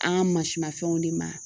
An ka mansinmafɛnw de ma